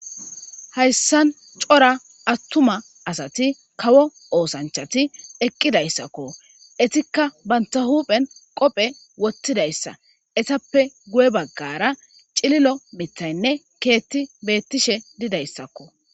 Hayssan cora attuma asati kawo oosanchati eqqidayssakko etikka banta huphen qophe wottidayssa esappe guye baggara cililo mithaynne keetti beettishe didayssakko.